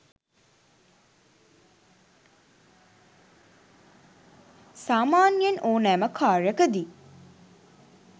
සාමාන්‍යයෙන් ඕනෑම කාර්යකදී